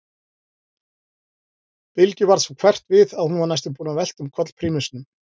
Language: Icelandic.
Bylgju varð svo hverft við að hún var næstum búin að velta um koll prímusnum.